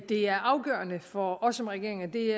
det er afgørende for os som regering og det